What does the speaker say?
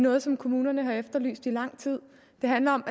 noget som kommunerne har efterlyst i lang tid det handler om